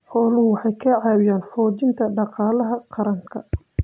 Xooluhu waxay ka caawiyaan xoojinta dhaqaalaha qaranka.